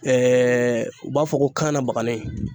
u b'a fɔ ko kanna bagani.